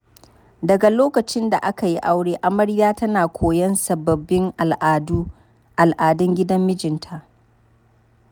Daga lokacin da aka yi aure, amarya tana koyon sababbin al'adun gidan mijinta.